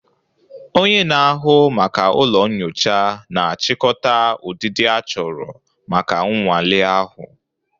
Onye na-ahụ maka ụlọ nyocha na-achịkọta ụdịdị achọrọ maka nnwale ahụ